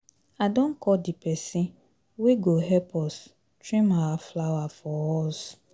I don call the person wey go help us trim our flower for us